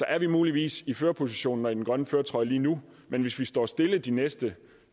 er muligvis i førerpositionen og i den grønne førertrøje lige nu men hvis vi står stille de næste